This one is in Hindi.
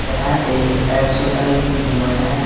यह एक एक्सरसाइज रूम है।